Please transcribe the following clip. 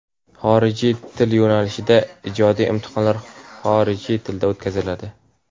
Xorijiy til yo‘nalishida ijodiy imtihonlar xorijiy tilda o‘tkaziladi.